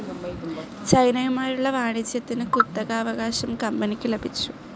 ചൈനയുമായുള്ള വാണിജ്യത്തിനു കുത്തകാവകാശം കമ്പനിക്ക് ലഭിച്ചു.